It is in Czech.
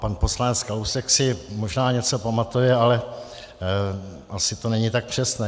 Pan poslanec Kalousek si možná něco pamatuje, ale asi to není tak přesné.